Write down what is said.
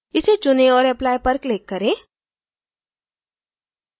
इसे चुनें औऱ apply पर click करें